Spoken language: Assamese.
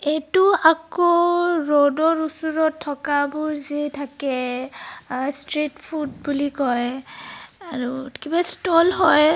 এইটো আকৌ ৰোড ৰ ওচৰত থকা বোৰ যে থাকে আহ স্তৃত ফুড বুলি কয় আ আৰু কিবা স্ট'ল হয়.